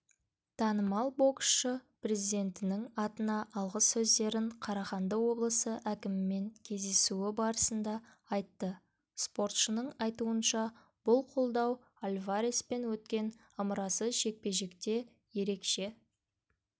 танымал боксшы президентінің атына алғыс сөздерін қарағанды облысы әкімімен кездесуі барысында айтты спортшының айтуынша бұл қолдау альвареспен өткен ымырасыз жекпе-жекте ерекше